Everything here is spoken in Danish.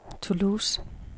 Toulouse